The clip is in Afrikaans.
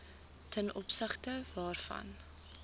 ten opsigte waarvan